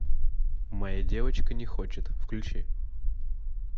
моя девочка не хочет включи